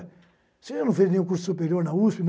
Você não fez nenhum curso superior na USP?